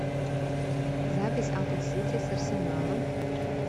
запись апл сити с арсеналом